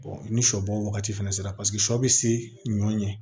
ni sɔ bɔ wagati fana sera paseke sɔ bɛ se ɲɔ ɲɛ